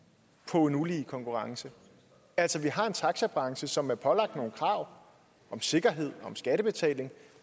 på en ulige konkurrence altså vi har en taxabranche som er pålagt nogle krav om sikkerhed og om skattebetaling